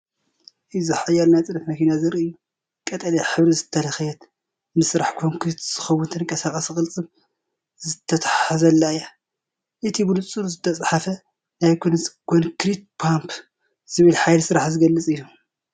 እዚ ሓያል ናይ ጽዕነት መኪና ዘርኢ እዩ። ቀጠልያ ሕብሪ ዝተለኽየት፡ ንስራሕ ኮንክሪት ዝኸውን ተንቀሳቓሲ ቅልጽም ዝተተሓሓዘላ እያ። እቲ ብንጹር ዝተጻሕፈ ናይ ኮንክሪት ፓምፕ ዝብል ሓይሊ ስራሕ ዝገልጽ እዩ።